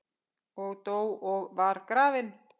og dó og var grafinn